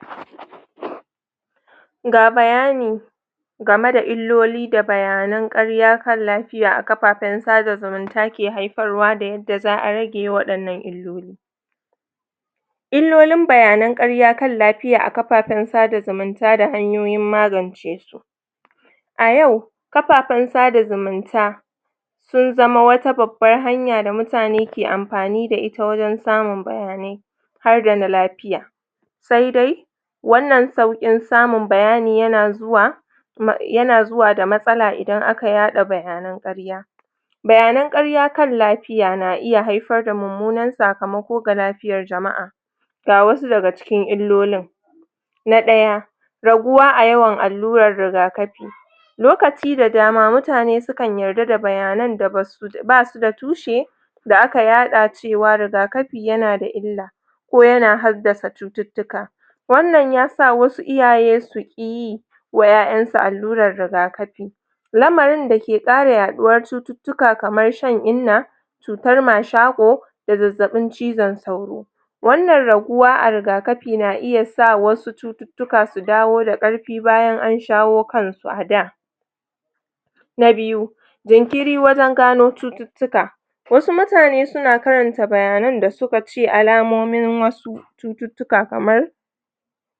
?? ga bayani game da illoli da bayanan ƙarya kan lafiya a kapapen sada zumunta ke haiparwa da yadda za'a rage irin waɗannan illoli illolin bayanan ƙarya kan lapiya a kapapen sada zumunta da hanyoyin magance su a yau kapapen sada zumunta sun zama wata babbar hanya da mutane ke ampani da ita wajen samun bayanai har da na lapiya sai dai wannan sauƙin samun bayani yana zuwa ma yana zuwa da matsala idan aka yaɗa bayanan ƙarya bayanan ƙarya kan lapiya na iya haifar da mummunan sakamako ga lafiyar jama'a ga wasu daga cikin illolin na ɗaya raguwa a yawan alluran rigakapi lokaci da dama mutane su kan yarda da bayanan da basu basu da tushe da aka yaɗa cewa rigakapi yana da illa ko yana haddasa cututtuka wannan yasa wasu iyaye su ƙi yi wa ƴaƴansu alluran rigakapi lamarin da ke ƙara yaɗuwar cututtuka kamar shan inna cutar mashaƙo da zazzaɓin cizan sauro wannan raguwa a rigakapi na iya sa wasu cututtuka su dawo da ƙarfi bayan an shawo kan su a da na biyu jinkiri wajen gano cututtuka wasu mutane suna karanta bayanan da suka ce alamomin wasu cututtuka kamar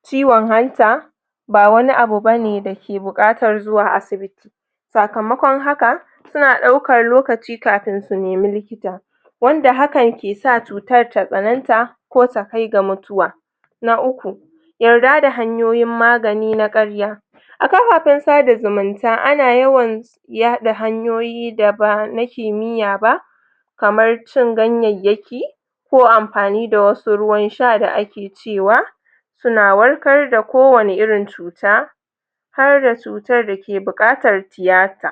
ciwan hanta ba wani abu bane dake buƙatar zuwa asibiti sakamakon haka suna ɗaukar lokaci kafin su nemi likita wanda hakan ke sa cutar ta tsananta to ta kai ga mutuwa na uku yarda da hanyoyin magani na ƙarya a kafafen sada zumunta ana yawan yaɗa hanyoyi da ba na kimiyya ba kamar cin ganyayyaki ko ampani da wasu ruwan sha da ake cewa suna warkar da ko wani irin cuta harda cutar da ke buƙatar tiyata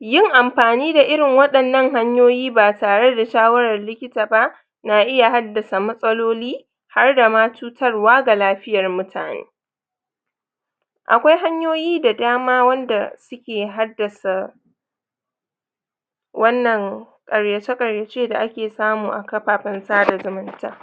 yin ampani da irin waɗannan hanyoyi ba tare da shawarar likita ba na iya haddasa matsaloli harda ma cutarwa ga lafiyar mutane akwai hanyoyi da dama wanda suke haddasa wannan ƙaryace ƙaryace da ake samu a kapapen sada zumunta